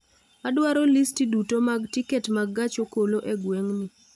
Adwaro listii duto mag tiket mag gach okolo e gweng'ni